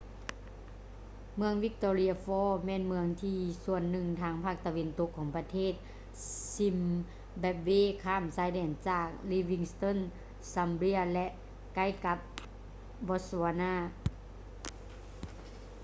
ເມືອງ victoria falls ແມ່ນເມືອງໃນສ່ວນໜຶ່ງທາງພາກຕາເວັນຕົກຂອງປະເທດ zimbabwe ຂ້າມຊາຍແດນຈາກ livingstone zambia ແລະ ໃກ້ກັບ botswana